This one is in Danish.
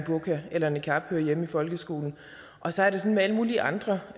burka eller niqab hører hjemme i folkeskolen og så er det sådan alle mulige andre